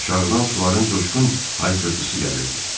Aşağıdan suların coşqun hayqırtısı gəlirdi.